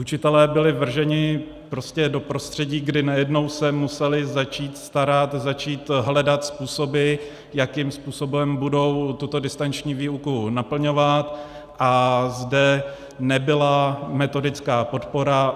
Učitelé byli vrženi prostě do prostředí, kdy najednou se museli začít starat, začít hledat způsoby, jakým způsobem budou tuto distanční výuku naplňovat, a zde nebyla metodická podpora.